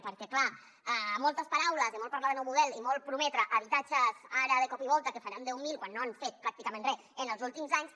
perquè clar moltes paraules i molt parlar de nou model i molt prometre habitatges ara de cop i volta que en faran deu mil quan no han fet pràcticament re en els últims anys